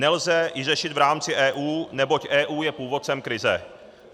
Nelze ji řešit v rámci EU, neboť EU je původcem krize.